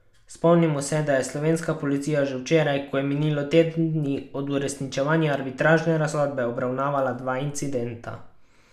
Spomnimo, da je slovenska policija že včeraj, ko je minilo teden dni od uresničevanja arbitražne razsodbe, obravnavala dva incidenta.